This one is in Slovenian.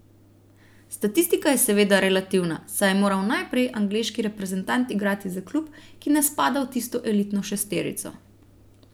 Statistika je seveda relativna, saj je moral najprej angleški reprezentant igrati za klub, ki ne spada v tisto elitno šesterico.